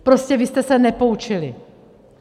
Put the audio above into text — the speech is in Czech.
Prostě vy jste se nepoučili.